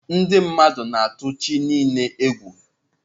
Ndị mmadụ na-atụ chi niile egwu.